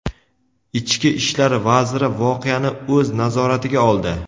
Ichki ishlar vaziri voqeani o‘z nazoratiga oldi.